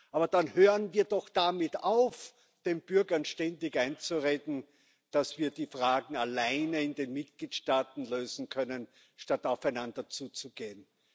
Aber dann hören wir doch damit auf, den Bürgern ständig einzureden, dass wir die Fragen alleine in den Mitgliedstaaten lösen können, statt aufeinander zuzugehen.